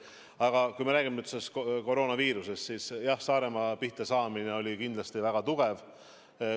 Aga kui me räägime koroonaviirusest, siis jah, Saaremaa pihtasaamine oli kindlasti väga tugev.